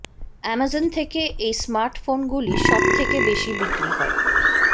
Amazon থেকে এই smartphone গুলি সবথেকে বেশি বিক্রি হয়